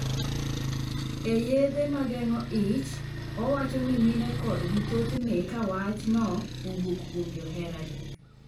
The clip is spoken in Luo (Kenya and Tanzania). E yedhe mageng'o ich, owacho ni mine kodgi thothne kawach no owuok kuom joheragi.